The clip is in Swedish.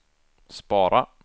spara